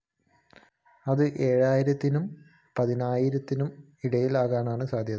അത് ഏഴായിരത്തിനും പതിനായിരത്തിനുമിടയിലാകാനാണ് സാധ്യത